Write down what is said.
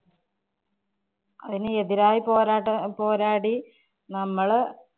അതിനെതിരായി പോരാട്ടം~ പോരാടി നമ്മള്